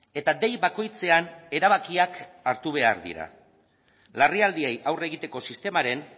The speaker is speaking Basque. eta dei bakoitzean erabakiak hartu behar dira larrialdiei aurre egiteko sistemaren